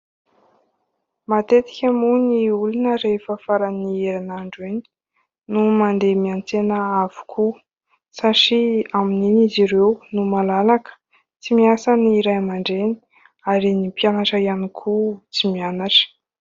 Matetika moa ny olona rehefa faran'ny herinandro iny no mandeha miantsena avokoa satria amin'iny izy ireo no malalaka : tsy miasa ny ray aman-dreny ary ny mpianatra ihany koa tsy mianatra.